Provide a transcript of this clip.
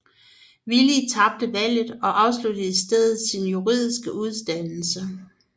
Willie taber valget og afslutter i stedet sin juridiske uddannelse